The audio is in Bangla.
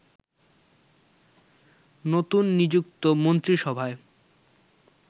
নতুন নিযুক্ত মন্ত্রিসভায়